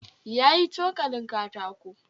Ya yi cokalin katako